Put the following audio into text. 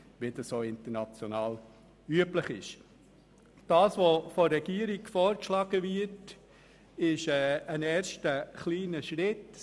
Der Vorschlag der Regierung ist ein erster, kleiner Schritt.